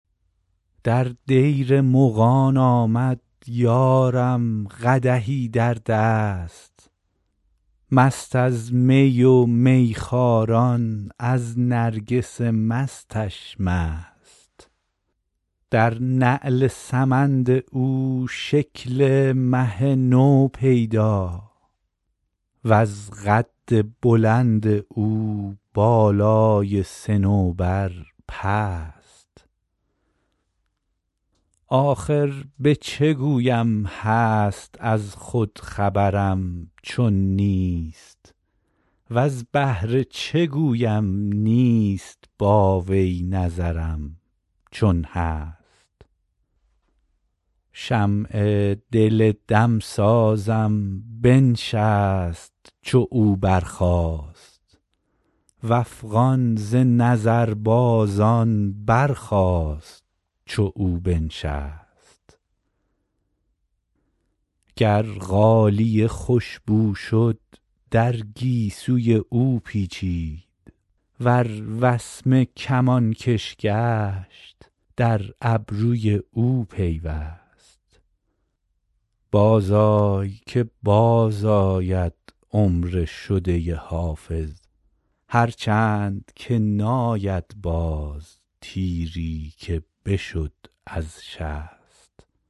در دیر مغان آمد یارم قدحی در دست مست از می و میخواران از نرگس مستش مست در نعل سمند او شکل مه نو پیدا وز قد بلند او بالای صنوبر پست آخر به چه گویم هست از خود خبرم چون نیست وز بهر چه گویم نیست با وی نظرم چون هست شمع دل دمسازم بنشست چو او برخاست و افغان ز نظربازان برخاست چو او بنشست گر غالیه خوش بو شد در گیسوی او پیچید ور وسمه کمانکش گشت در ابروی او پیوست بازآی که بازآید عمر شده حافظ هرچند که ناید باز تیری که بشد از شست